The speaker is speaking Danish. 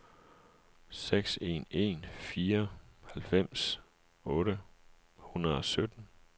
seks en en fire halvfems otte hundrede og sytten